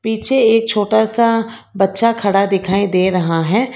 पीछे एक छोटा सा बच्चा खड़ा दिखाई दे रहा है।